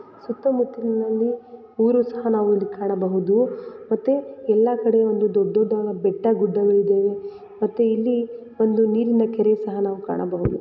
ಸುತ್ತಮುತ್ತಲಿನಲ್ಲಿ ಊರು ಸಹ ನಾವು ಇಲ್ಲಿ ಕಾಣಬಹುದು ಮತ್ತೆ ಎಲ್ಲಾ ಕಡೆ ಒಂದು ದೊಡ್ಡ ದೊಡ್ಡದ ಬೆಟ್ಟಗುಡ್ಡಗಳು ಇದ್ದಾವೆ ಮತ್ತೆ ಇಲ್ಲಿ ಒಂದು ನೀರಿನ ಕೆರೆ ಸಹ ನಾವು ಕಾಣಬಹುದು.